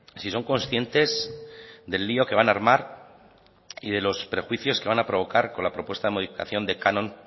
si son conscientes del lío que van a armar y de los prejuicios que van a provocar con la propuesta de modificación de canon